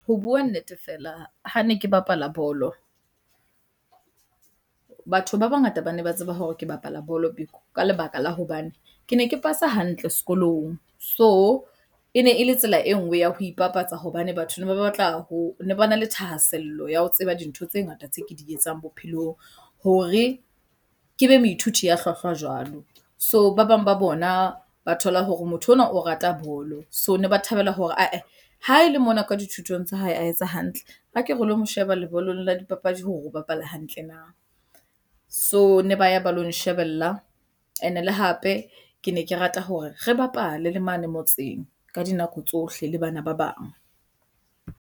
Ho buwa nnete fela ha ne ke bapala bolo, batho ba bangata ba ne ba tseba hore ke bapala bolo ka lebaka la hobane ke ne ke pasa hantle sekolong. So e ne e le tsela e nngwe ya ho ipapatsa hobane batho ne ba batla ho ne ba na le thahasello ya ho tseba dintho tse ngata tse ke di etsang bophelong hore ke be moithuti ya hlwahlwa jwalo. So ba bang ba bona ba thola hore motho enwa o rata bolo, so ne ba thabela hore ae ha ele mona ka dithutong tsa hae, a etsa hantle. Okay re lo mo sheba lebollong la dipapadi ho bapala hantle, na so ne ba ya ba lo nshebella ene le hape ke ne ke rata hore re bapale le mane motseng ka dinako tsohle le bana ba bang.